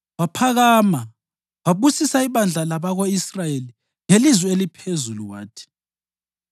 Waphakama wabusisa ibandla labako-Israyeli ngelizwi eliphezulu wathi: